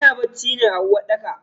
Ana bacci ne a uwarɗaka.